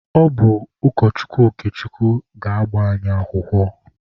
Ọ bụ ụkọchukwu Okechukwu ga-agba anyị akwụkwọ.